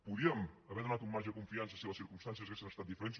podíem haver donat un marge de confiança si les circumstàncies haguessin estat diferents